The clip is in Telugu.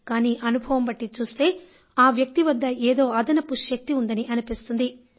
కానీ అనుభవం బట్టి చూస్తే ఆ వ్యక్తి వద్ద ఏదో అదనపు శక్తి ఉందని అనిపిస్తుంది